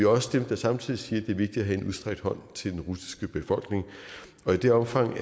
også dem der samtidig siger at er vigtigt at have en udstrakt hånd til den russiske befolkning og i det omfang